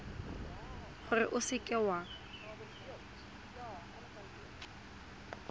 gore o seka w a